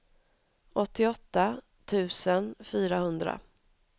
åttioåtta tusen fyrahundra